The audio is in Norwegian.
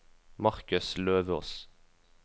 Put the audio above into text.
Marcus Løvås